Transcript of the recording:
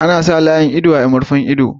Ana sa layin ido a murfin ido.